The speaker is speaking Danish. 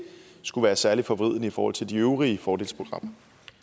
skulle være særlig forvridende i forhold til de øvrige fordelsprogrammer